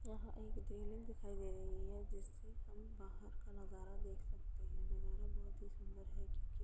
यह एक दिखाई दे रही है जिससे हम बाहर का नजारा देख सकते हैं नजारा बहोत ही सुंदर है। क्यूंकि --